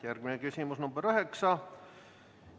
Järgmine küsimus, nr 9.